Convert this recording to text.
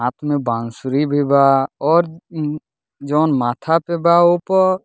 हाथ में बांसुरी भी बा और जोवन माथा पे बा ओ प --